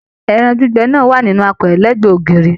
Ẹran gbígbẹ náà wà nínú àpẹrẹ l'ẹgbẹ ògiri.